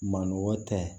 Maninɔgɔ tɛ